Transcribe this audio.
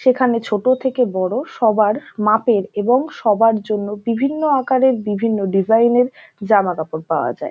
সেখানে ছোট থেকে বড়ো সবার মাপের এবং সবার জন্য বিভিন্ন আকারের বিভিন্ন ডিজাইন - এর জামাকাপড় পাওয়া যায়।